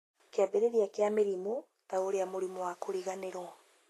kĩambĩrĩria kĩa mĩrimũ, ta ũrĩa mũrimũ wa kũriganĩrwo